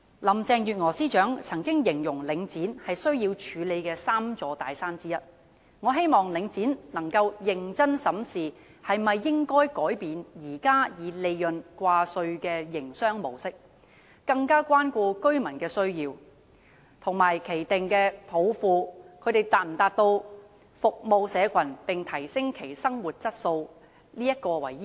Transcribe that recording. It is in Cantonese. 林鄭月娥司長曾經形容領展是需要處理的 "3 座大山"之一，我希望領展能夠認真審視應否改變現時以利潤掛帥的營商模式，更加關顧居民的需要，以有否達到其訂下"服務社群並提升其生活質素"的抱負為依歸。